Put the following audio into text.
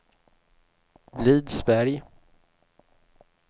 Blidsberg